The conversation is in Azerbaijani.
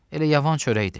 Elə yavan çörəkdir.